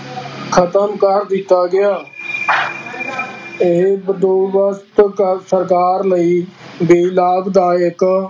ਖ਼ਤਮ ਕਰ ਦਿੱਤਾ ਗਿਆ ਇਹ ਬੰਦੋਬਸਤ ਕਰ ਸਰਕਾਰ ਲਈ ਵੀ ਲਾਭਦਾਇਕ